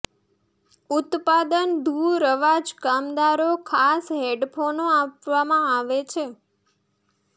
ઉત્પાદન દૂર અવાજ કામદારો ખાસ હેડફોનો આપવામાં આવે છે